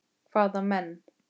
Hvaða menn?